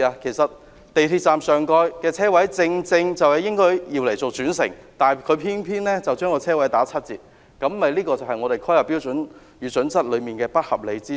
港鐵站上蓋的車位正應該用作轉乘，但《香港規劃標準與準則》偏偏將車位數目打七折，這便是其一個不合理之處。